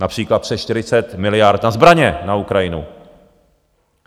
Například přes 40 miliard na zbraně na Ukrajinu.